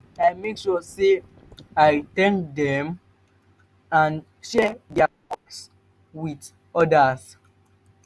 i dey make sure say i thank dem and share dia work with odas.